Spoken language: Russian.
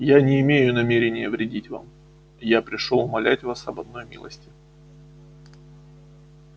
я не имею намерения вредить вам я пришёл умолять вас об одной милости